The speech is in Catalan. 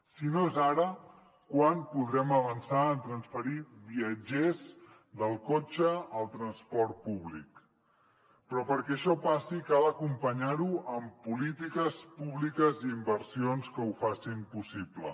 si no és ara quan podrem avançar en transferir viatgers del cotxe al transport públic però perquè això passi cal acompanyar ho amb polítiques públiques i inversions que ho facin possible